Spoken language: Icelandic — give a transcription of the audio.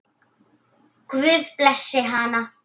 Guð blessi hana.